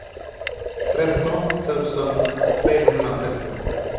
tretton tusen trehundratrettio